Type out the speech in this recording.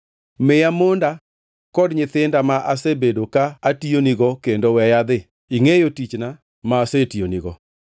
Miya monda kod nyithinda ma asebedo ka atiyonigo kendo weya adhi. Ingʼeyo tichna ma asetiyonigo.”